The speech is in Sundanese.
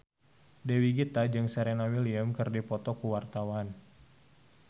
Dewi Gita jeung Serena Williams keur dipoto ku wartawan